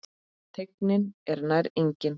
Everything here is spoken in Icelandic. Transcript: Teygnin er nær engin.